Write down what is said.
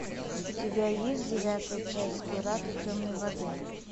у тебя есть девятая часть пираты темной воды